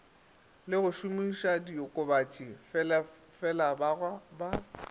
le go šomišadiokobatši felabaga ba